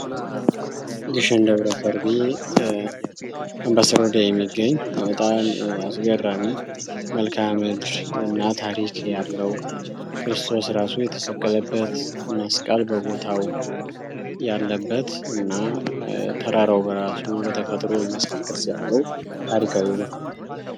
ግሽን ደብረከርቤ በስሮዳ የሚገኝ በጣም አስገራሚ መልካምድር እና ታሪክ ያለው ክርስቶስ ራሱ የተሰቀለበት መስቀል በቦታው ያለበት እና ተራራው በራሱ በተፈጥሮ የመስቀል ቅርፅ ያለው ታሪካዊ ቦታ ነው።